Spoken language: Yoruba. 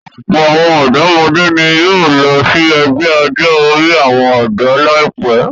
Ọ̀pọ̀ àwọn ọ̀dọ́mọdé ni yóò lọ sí ẹgbẹ́ ọjọ́-orí àwọn ọ̀dọ́ láìpẹ́.